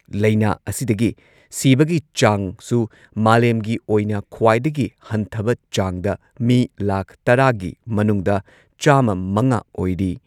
ꯂꯩꯅꯥ ꯑꯁꯤꯗꯒꯤ ꯁꯤꯕꯒꯤ ꯆꯥꯡꯁꯨ ꯃꯥꯂꯦꯝꯒꯤ ꯑꯣꯏꯅ ꯈ꯭ꯋꯥꯏꯗꯒꯤ ꯍꯟꯊꯕ ꯆꯥꯡꯗ ꯃꯤ ꯂꯥꯈ ꯇꯔꯥꯒꯤ ꯃꯅꯨꯡꯗ ꯆꯥꯝꯃ ꯃꯉꯥ ꯑꯣꯏꯔꯤ꯫